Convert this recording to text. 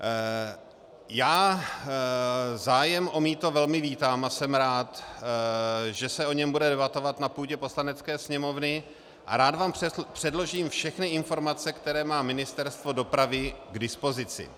Já zájem o mýto velmi vítám a jsem rád, že se o něm bude debatovat na půdě Poslanecké sněmovny, a rád vám předložím všechny informace, které má Ministerstvo dopravy k dispozici.